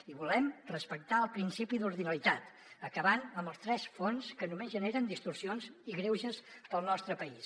i volem respectar el principi d’ordinalitat acabant amb els tres fons que només generen distorsions i greuges per al nostre país